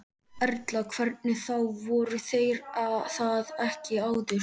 Erla: Hvernig þá, voru þeir það ekki áður?